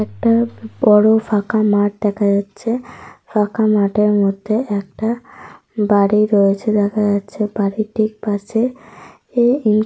একটা বড় ফাঁকা মাঠ দেখা যাচ্ছে। ফাঁকা মাঠের মধ্যে একটা বাড়ি রয়েছে দেখা যাচ্ছে বাড়িটির পাশে এ--